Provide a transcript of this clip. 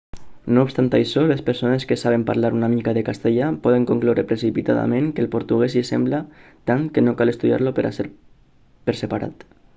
no obstant això les persones que saben parlar una mica de castellà poden concloure precipitadament que el portuguès s'hi assembla tant que no cal estudiar-lo per separat